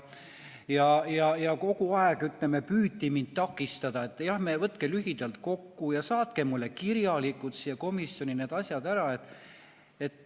Ja kogu aeg püüti mind takistada, et võtke lühidalt kokku ja saatke mulle kirjalikult siia komisjoni need asjad ära.